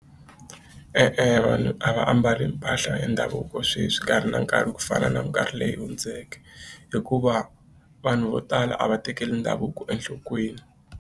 E-e vanhu a va ambali mpahla ya ndhavuko sweswi nkarhi na nkarhi ku fana na mikarhi leyi hundzeke hikuva vanhu vo tala a va tekeli ndhavuko enhlokweni.